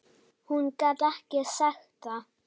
Hún gat ekki sagt það.